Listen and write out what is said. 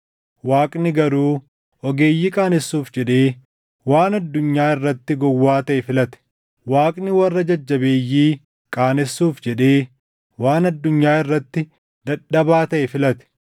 Waaqni garuu ogeeyyii qaanessuuf jedhee waan addunyaa irratti gowwaa taʼe filate; Waaqni warra jajjabeeyyii qaanessuuf jedhee waan addunyaa irratti dadhabaa taʼe filate.